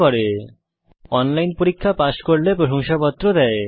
যারা অনলাইন পরীক্ষা পাস করে তাদের প্রশংসাপত্র দেওয়া হয়